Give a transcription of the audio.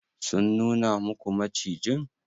Sun nuna muku macijin?